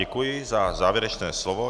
Děkuji za závěrečné slovo.